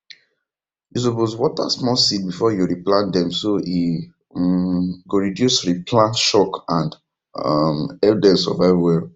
you suppose water small seeds before you re plant dem so e um go reduce re plant shock and um help dem survive well